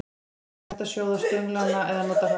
Einnig er hægt að sjóða stönglana eða nota hráa.